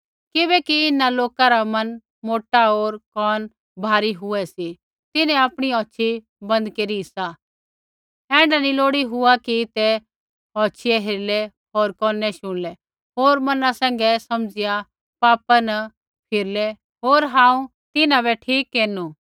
किबैकि इन्हां लोका रा मन मोटा होर कोन भारी हुऐ सी तिन्हैं आपणी औछ़ी बन्द केरी सी ऐण्ढा नी लोड़ी हुआ कि ते औछियै हेरलै होर कोनै शुणलै होर मना सैंघै समझ़िया पापा न फिरलै होर हांऊँ तिन्हां बै ठीक केरनु